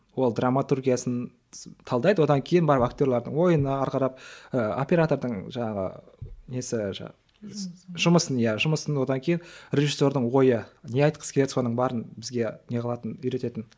ол драматургиясын талдайды одан кейін барып актерлардың ойынына қарап ы оператордың жаңағы несі жаңағы жұмысын иә жұмысын одан кейін режиссердің ойы не айтқысы келеді соны бәрін бізге не қылатын үйрететін